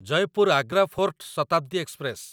Jaipur Agra fort Shatabdi express